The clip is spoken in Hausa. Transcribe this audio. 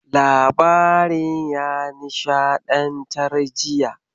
Labarin ya nishaɗantar jiya.